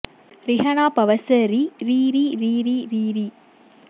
ரிஹண பவச ரி ரி ரி ரி ரி ரி ரி